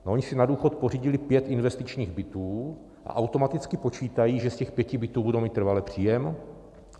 Oni si na důchod pořídili pět investičních bytů a automaticky počítají, že z těch pěti bytů budou mít trvalý příjem.